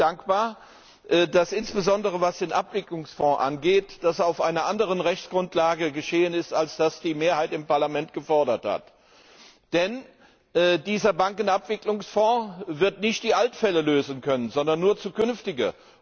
Ich bin dankbar, dass insbesondere, was den Abwicklungsfonds angeht, das auf einer anderen Rechtsgrundlage geschehen ist, als es die Mehrheit im Parlament gefordert hat. Denn dieser Bankenabwicklungsfonds wird nicht die Altfälle lösen können, sondern nur zukünftige.